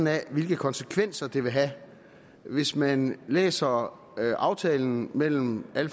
af hvilke konsekvenser det vil have hvis man læser aftalen mellem alle